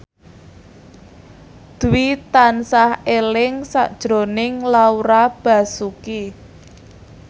Dwi tansah eling sakjroning Laura Basuki